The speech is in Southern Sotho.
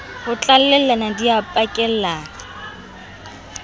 ho tlalellana di a pakellana